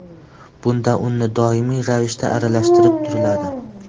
Bunda unni doimiy ravishda aralashtirib turiladi.